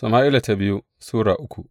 biyu Sama’ila Sura uku